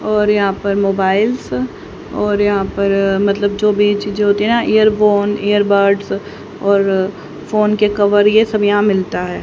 और यहां पर मोबाइल्स और यहां पर मतलब जो भी चीजें होती है ना इयरफोन इयरबड्स और फोन के कवर ये सब यहां मिलता है।